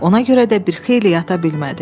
Ona görə də bir xeyli yata bilmədi.